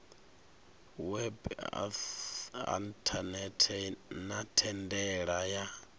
web inthanethe na thendela ya